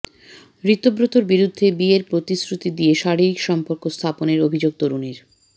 ঋতব্রতর বিরুদ্ধে বিয়ের প্রতিশ্রুতি দিয়ে শারীরিক সম্পর্ক স্থাপনের অভিযোগ তরুণীর